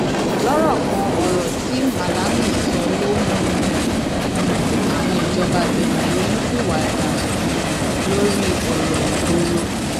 lọrọ kan ọrọ tí malami sọ ló mú um àwọn ìjọba benne ronú pìwàdà um lórí ọrọ ìgboro